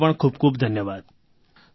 તમને પણ ખૂબ ખૂબ ધન્યવાદ